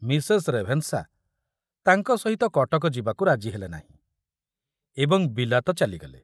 Mrs Ravenshaw ତାଙ୍କ ସହିତ କଟକ ଯିବାକୁ ରାଜି ହେଲେ ନାହିଁ ଏବଂ ବିଲାତ ଚାଲିଗଲେ।